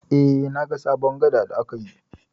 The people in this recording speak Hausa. Eh, na ga sabon gada da aka yi.